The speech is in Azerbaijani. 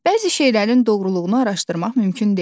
Bəzi şeylərin doğruluğunu araşdırmaq mümkün deyil.